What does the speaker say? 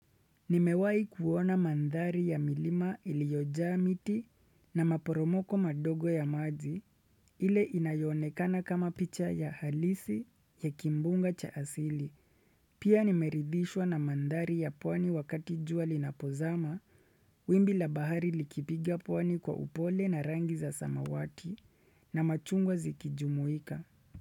Nimewai kuona manthari ya milima ilioja miti na maporomoko madogo ya maji ile inayo onekana kama picha ya halisi ya kimbunga cha asili. Pia nimeridhishwa na manthari ya pwani wakati jua linapozama, wimbi la bahari likipiga pwani kwa upole na rangi za samawati na machungwa zikijumuika.